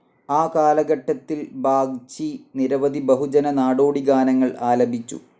ആ കാലഘട്ടത്തിൽ ബാഗ്ചി നിരവധി ബഹുജന, നാടോടി ഗാനങ്ങൾ ആലപിച്ചു.